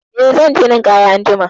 Eh, zan je yin ninƙaya anjima.